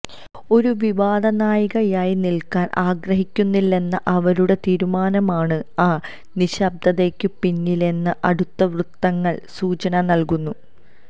ഒരു വിവാദ നായികയായി നില്ക്കാന് ആഗ്രഹിക്കുന്നില്ലെന്ന അവരുടെ തീരുമാനമാണ് ആ നിശബ്ദതയ്ക്കു പിന്നിലെന്ന് അടുത്തവൃത്തങ്ങള് സൂചന നല്കുന്നു